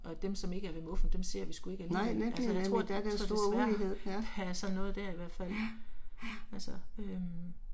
Og dem som ikke er ved muffen dem ser vi sgu ikke alligevel, altså jeg tror jeg tror desværre der er sådan noget der i hvert fald. Altså øh